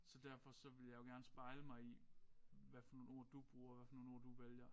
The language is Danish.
Så derfor så vil jeg jo gerne spejle mig i hvad for nogle ord du bruger hvad for nogle ord du vælger